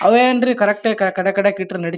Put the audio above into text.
ಅವೇ ಏನ್ರೀ ಕರೆಕ್ಟ್ ಆಗಿ ಕಡೆ ಕಡೆಕ್ ಇಟ್ರ ನಡಿ --